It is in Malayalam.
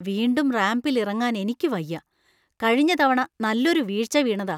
വീണ്ടും റാംപിൽ ഇറങ്ങാൻ എനിയ്ക്കു വയ്യ. കഴിഞ്ഞ തവണ നല്ലൊരു വീഴ്ച്ച വീണതാ.